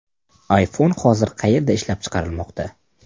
iPhone hozir qayerda ishlab chiqarilmoqda?